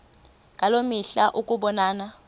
ngaloo mihla ukubonana